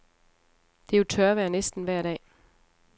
Det er jo tørvejr næsten vejr dag.